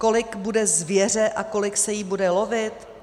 Kolik bude zvěře a kolik se jí bude lovit?